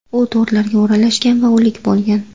U to‘rlarga o‘ralashgan va o‘lik bo‘lgan.